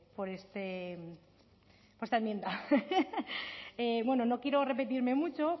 por esta enmienda bueno no quiero repetirme mucho